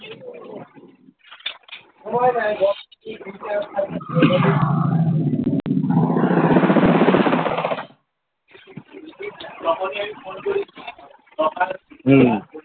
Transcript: . হম